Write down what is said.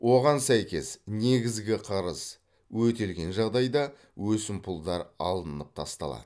оған сәйкес негізгі қарыз өтелген жағдайда өсімпұлдар алынып тасталады